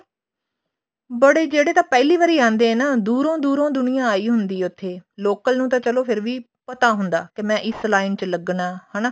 ਬੜੇ ਜਿਹੜੇ ਤਾਂ ਪਹਿਲੀ ਵਾਰੀ ਆਉਂਦੇ ਨੇ ਨਾ ਦੂਰੋਂ ਦੂਰੋਂ ਦੁਨੀਆ ਆਈ ਹੁੰਦੀ ਆ ਉੱਥੇ local ਉਨ ਤਾਂ ਚਲੋ ਫੇਰ ਵੀ ਪਤਾ ਹੁੰਦਾ ਕੇ ਮੈਂ ਇਸ line ਚ ਲੱਗਣਾ ਹਨਾ